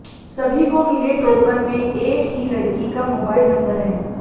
सभी को मिले टोकन में एक ही लड़की का मोबाइल नंबर है